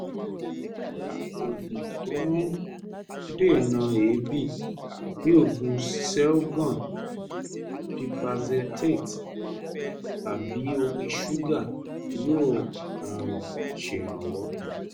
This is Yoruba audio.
àwọn oògùn tó ń dènà èébì bí oògùn selgon (pipazethate) tàbí omi ṣúgà yóò um ṣèrànwọ́